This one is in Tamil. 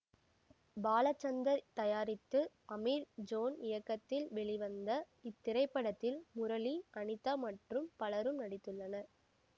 பாலச்சந்தர் தயாரித்து அமீர் ஜோன் இயக்கத்தில் வெளிவந்த இத்திரைப்படத்தில் முரளி அனிதா மற்றும் பலரும் நடித்துள்ளனர்